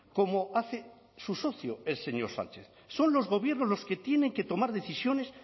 como hace su socio el señor sánchez son los gobiernos los que tienen que tomar decisiones